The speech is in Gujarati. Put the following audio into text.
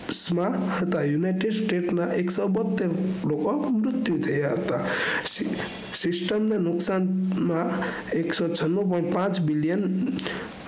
સ્મા હતા united states ના એકસો બોતેર લોકો મુત્યુ થયા હતા system ને નુકસાનના એકસો છાણું point પાંચ billion